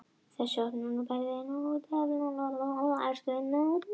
Þessi opnun, bæði inn og út á við, gróf smám saman undan samfélagslegum forsendum bjórbannsins.